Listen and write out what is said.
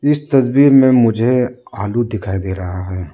इस तस्वीर में मुझे आलू दिखाई दे रहा है।